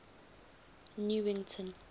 newington